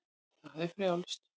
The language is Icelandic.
Það er frjálst.